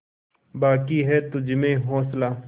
बाक़ी है तुझमें हौसला